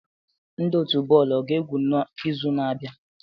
Ndị otu bọọlụ a ga-egwu n'izu na-abịa?